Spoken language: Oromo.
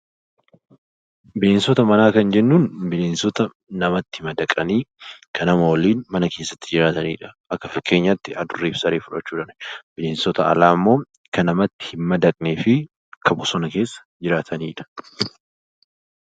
Bineensota manaa Kan jennuun bineensota namatti madaqanii Kan nama waliin mana keessatti jiraatanidha. Akka fakkeenyaatti adurree fi saree fudhachuu dandeenya. Bineensota alaa immoo Kan namatti hin madaqnee fi Kan bosona keessa jiraatanidha.